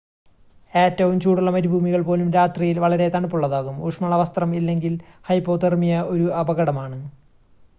ഏറ്റവും ചൂടുള്ള മരുഭൂമികൾ പോലും രാത്രിയിൽ വളരെ തണുപ്പുള്ളതാകും ഊഷ്‌മള വസ്ത്രം ഇല്ലെങ്കിൽ ഹൈപ്പോതെർമിയ ഒരു അപകടമാണ്